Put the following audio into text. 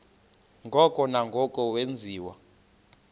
ngoko nangoko wenziwa